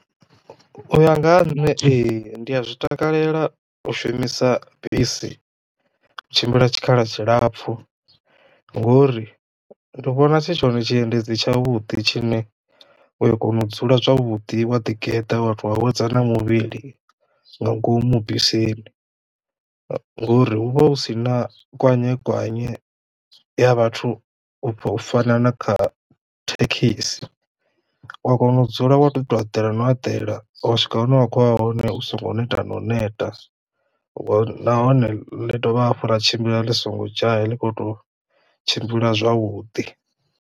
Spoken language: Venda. U ya nga ha nṋe ee ndi a zwi takalela u shumisa bisi u tshimbila tshikhala tshilapfu ngori ndi to vhona tshi tshone tshiendedzi tshavhuḓi tshine u ya kona u dzula zwavhuḓi wa ḓigeḓa wa to awedza na muvhili nga ngomu bisini, ngori hu vha hu si na kwanyekwanye ya vhathu u fana na kha thekhisi. U ya kono u dzula wa tou eḓela no eḓela ho swika hune wa kho ya hone u songo neta no u neta nahone ḽi dovha hafhu ḽa tshimbila ḽi songo dzhaya ḽi khou tou tshimbila zwavhudi.